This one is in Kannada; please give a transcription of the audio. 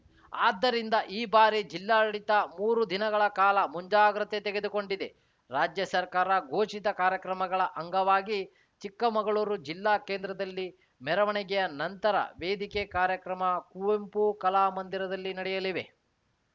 ಆದ್ದರಿಂದ ಈ ಬಾರಿ ಜಿಲ್ಲಾಡಳಿತ ಮೂರು ದಿನಗಳ ಕಾಲ ಮುಂಜಾಗ್ರತೆ ತೆಗೆದುಕೊಂಡಿದೆ ರಾಜ್ಯ ಸರ್ಕಾರ ಘೋಷಿತ ಕಾರ್ಯಕ್ರಮಗಳ ಅಂಗವಾಗಿ ಚಿಕ್ಕಮಗಳೂರು ಜಿಲ್ಲಾ ಕೇಂದ್ರದಲ್ಲಿ ಮೆರವಣಿಗೆಯ ನಂತರ ವೇದಿಕೆ ಕಾರ್ಯಕ್ರಮ ಕುವೆಂಪು ಕಲಾಮಂದಿರದಲ್ಲಿ ನಡೆಯಲಿವೆ